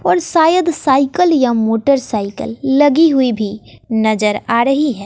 और शायद साईकल या मोटरसाइकल लगी हुई भी नजर आ रही है।